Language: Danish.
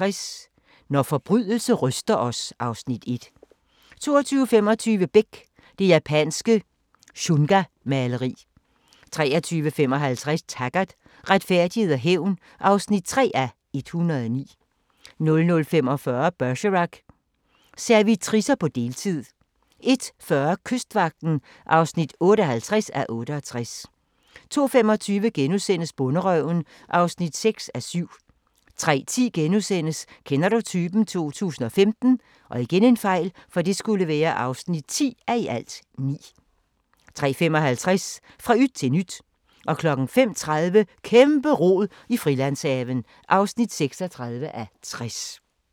20:45: Havfruemordet 21:55: Når forbrydelse ryster os (Afs. 1) 22:25: Beck: Det japanske shungamaleri 23:55: Taggart: Retfærdighed og hævn (3:109) 00:45: Bergerac: Servitricer på deltid 01:40: Kystvagten (58:68) 02:25: Bonderøven (6:7)* 03:10: Kender du typen? 2015 (10:9)* 03:55: Fra yt til nyt 05:30: Kæmpe-rod i Frilandshaven (36:60)